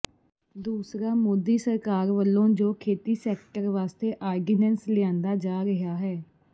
ਦੂਸਰਾ ਮੋਦੀ ਸਰਕਾਰ ਵਲੋਂ ਜੋ ਖੇਤੀ ਸੈਕਟਰ ਵਾਸਤੇ ਆਰਡੀਨੈਂਸ ਲਿਆਂਦਾ ਜਾ ਰਿਹਾ ਹੈ